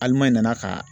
Ali n'i ma na ka